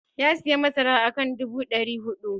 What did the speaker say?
Ya sayi masara akan dubu dari hudu.